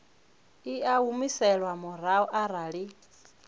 i a humiselwa murahu arali